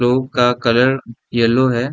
का colour yellow है।